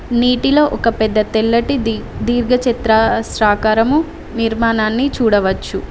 నీటిలో ఒక పెద్ద తెల్లటి దీర్ఘ చతురస్రకారం నిర్మాణాన్ని చూడవచ్చు.